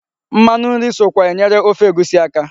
Mmanụ nri sokwa enyere ofe egusi aka.